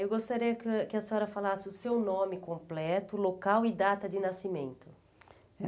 Eu gostaria que que a senhora falasse o seu nome completo, local e data de nascimento.